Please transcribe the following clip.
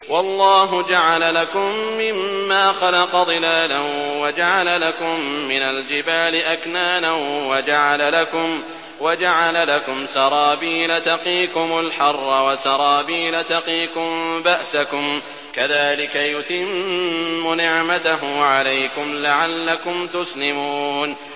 وَاللَّهُ جَعَلَ لَكُم مِّمَّا خَلَقَ ظِلَالًا وَجَعَلَ لَكُم مِّنَ الْجِبَالِ أَكْنَانًا وَجَعَلَ لَكُمْ سَرَابِيلَ تَقِيكُمُ الْحَرَّ وَسَرَابِيلَ تَقِيكُم بَأْسَكُمْ ۚ كَذَٰلِكَ يُتِمُّ نِعْمَتَهُ عَلَيْكُمْ لَعَلَّكُمْ تُسْلِمُونَ